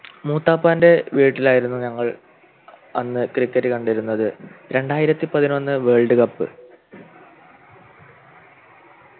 മൂത്താപ്പാൻ്റെ വീട്ടിലായിരുന്നു ഞങ്ങൾ അന്ന് Cricket കണ്ടിരുന്നത് രണ്ടായിരത്തി പതിനൊന്ന് Worldcup